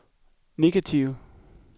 negative